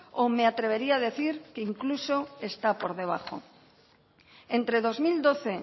o me atrevería decir que incluso está por debajo entre dos mil doce